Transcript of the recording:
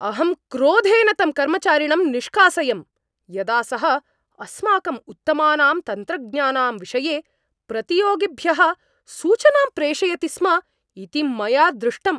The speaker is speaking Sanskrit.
अहं क्रोधेन तं कर्मचारिणं निषकासयम्, यदा सः अस्माकम् उत्तमानां तन्त्रज्ञानां विषये प्रतियोगिभ्यः सूचनां प्रेषयति स्म इति मया दृष्टम्।